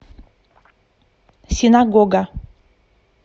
синагога